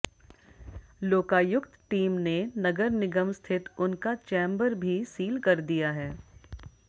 Lokayukta team ने नगर निगम स्थित उनका चैम्बर भी सील कर दिया है